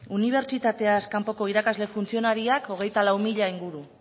unibertsitateaz kanpoko irakasle funtzionarioak hogeita lau mila inguru